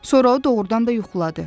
Sonra o doğurdan da yuxuladı.